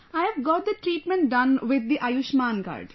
I have got the treatment done with the Ayushman card